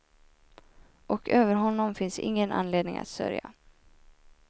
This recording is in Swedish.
Och över honom finns ingen anledning att sörja.